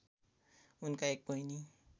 उनका एक बहिनी